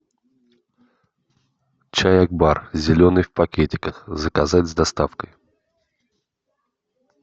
чай акбар зеленый в пакетиках заказать с доставкой